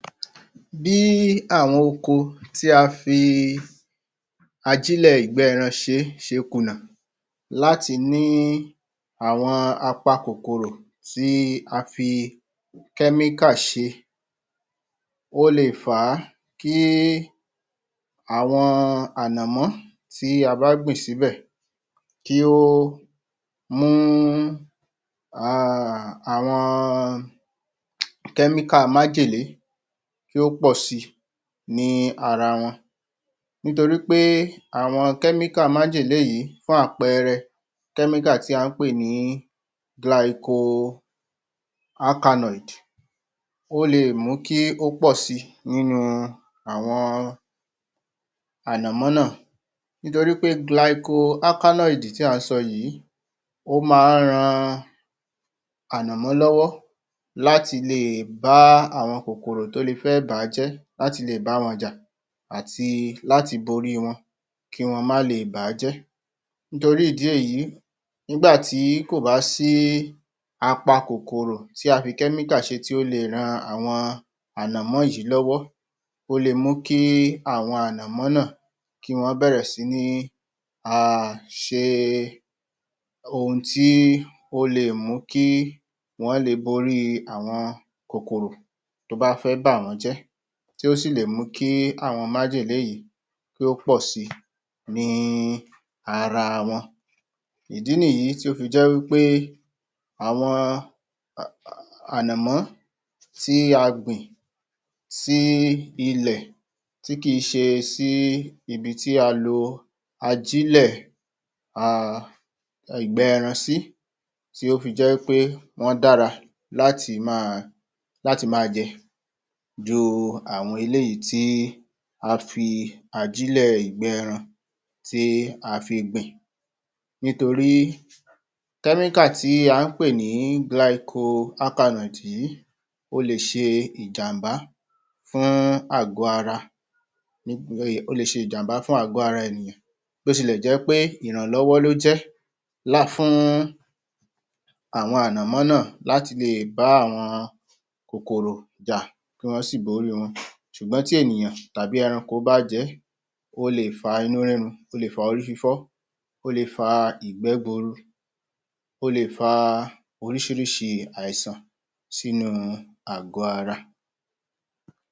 Bí àwọn oko tí a fi ajílẹ̀ ìgbẹ́ -ẹran ṣé ṣe ìkùnà láti ni àwọn apa kòkòrò tí a fi kẹ́míkà ṣe ó lè fà á kí àwọn ànọ̀mọ́ tí a bá gbìn sí bẹ̀ kí ó mú àwọn kẹ́míkà májẹ̀lé kí ó pọ̀sí ni ara wọn nítorí pé àwọn kẹ́míkà májẹ̀lé yìí fún àpẹẹrẹ kẹ́míkà tí à ń pè ní Glycoalkaloids ó lè mú kí ó pọ̀ si nínú àwọn ànọ̀mọ́ náà nítorí Glycoalkaloids tí à ń sọ yìí ó máa ń ran ànọ̀mó lọ́wọ́ láti lè bá àwọn kòkòrò tí ó lè fẹ́ bà á jẹ́ láti lè báwọn jà àti láti borí wọn kì wọ́n ma lè bàájẹ́ nítorí ìdí èyí nígbà tí kò bá sí apa kòkòrò tí a fi kẹ́míkà ṣe tí ó lè ran àwọn ànọ̀mọ́ yìí lọ́wọ́ ó lè mú kí àwọn ànọ̀mó náà kì wọ́n bẹ́ẹ̀rẹ̀ sí ní ṣe ohun tí ó lè mú kí wọ́n lè borí àwọn kòkòrò tí ó bá fẹ́ bà wọ́n jẹ́ tí o sì lè mú kí àwọn májẹ̀lé yìí kí ó pọ̀ si ní ara wọn ìdí nìyí tí ó fi jẹ́ wí pé àwọn ànọ̀mó tí á gbin sí ilẹ̀ tí kì í ṣe sí ibi tí a lò ajílẹ̀ a ìgbẹ́-ẹran sí ti ó fijẹ́ pé wọ́n dára láti ma jẹ jú àwọn eléyìí tí a fi ajílẹ̀ ìgbẹ́-ẹran tí a fi gbin nítorí kẹ́míkà tí à ń pè ní Glycoalkaloids yìí ó lè ṣe ìjàmbá fún àgò-ara ó lè ṣe ìjàmbá fún àgó-ara ènìyàn bí ó tilẹ̀ jẹ́ pé ìrànlọ́wọ́ ló jẹ́ ńlá fún àwọn ànọ̀mó náà láti lè bá àwọn kòkòrò jà tí wọ́n á sì borí wọn ṣùgbọ́n tí ènìyàn tàbí ẹranko bá jẹ ó lè fa inú rírun ó lè fa orí fífọ́ ó lè fa ìgbẹ́ guuru ó lè fa oríṣiríṣi àìsàn sínú àgọ̀-ara